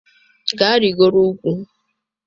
Gaa rịgoro ugwu